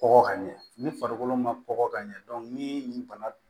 Kɔgɔ ka ɲɛ ni farikolo ma kɔkɔ ka ɲɛ ni nin bana